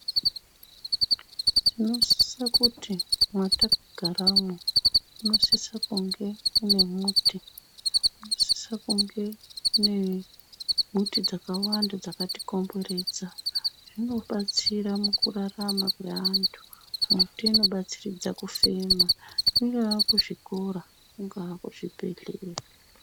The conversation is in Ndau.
Tinosisa kuti mwatakagaramwo munosisa kunge mune muti. Munosise kunge mune muti dzakawanda dzakatikomberedza zvinobatsira mukurarama kweantu. Muti inobatsiridza kufema kweantu, kungaa kuzvikora, kungaa kuzvibhehlera.